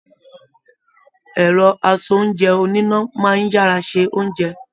Ẹrọ asoúnjẹ̀ oníná máa n yára ṣe oúnjẹ.